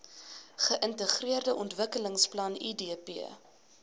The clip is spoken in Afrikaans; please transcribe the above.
geintegreerde ontwikkelingsplan idp